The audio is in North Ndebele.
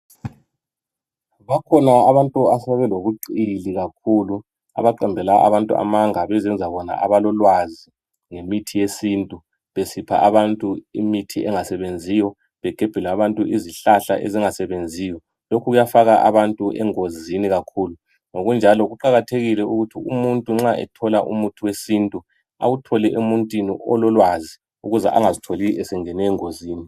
Bakhona abantu asebelokuqili kakhulu abaqambela abantu amanga bezenza bona abalolwazi ngemithi yesintu besipha abantu imithi engasebenziyo begebhela abantu izihlahla ezingasebenziyo lokhu kuyafaka abantu engozini kakhulu ngokunjalo kuqakathekile ukuthi umuntu nxa ethola umuthi wesintu awuthole emuntwini olokwazi ukuze angazitholi esengene engozini